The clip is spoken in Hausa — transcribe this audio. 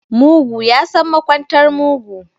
Mugu yasan makwantar mugu